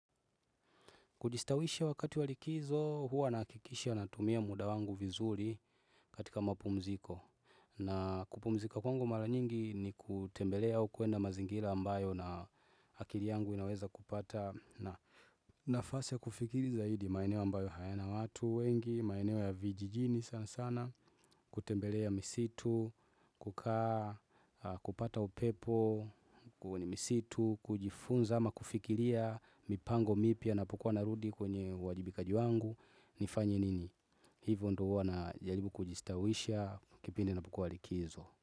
Kujistawisha wakati wa likizo, huwa nahakikisha natumia muda wangu vizuri katika mapumziko. Na kupumzika kwangu mara nyingi ni kutembelea au kuenda mazingira ambayo na akili yangu inaweza kupata. Na nafasi ya kufikiri zaidi maeneo ambayo hayana watu wengi, maeneo ya vijijini sana sana. Kutembelea misitu, kukaa, kupata upepo, kwenye misitu, kujifunza ama kufikiria mipango mipya napokua narudi. Kwenye uwajibikaji wangu nifanye nini. Hivyo ndo huwa najaribu kujistawisha kipindi inapokua likizo.